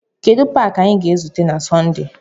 Kedu paaki anyị ga-ezute na Sọnde?